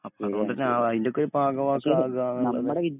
അപ്പളതുകൊണ്ടിട്ടാണ് അതിൻ്റെയൊക്കെയൊരു ഭാഗമൊക്കെയാവുക ആ